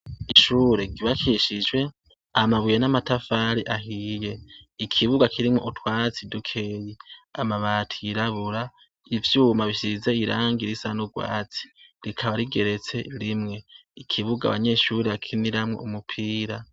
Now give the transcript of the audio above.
Ishure ryubakishijwe amabuye n'amatafari ahiye, ikibuga kirimwo utwatsi dukeya amabati yirabura, ivyuma bisize irangi risa n'urwatsi rikaba rigeretse rimwe, ikibuga abanyeshuri bakiniramwo umupira.